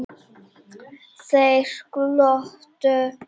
Þeir glottu.